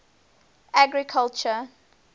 agriculture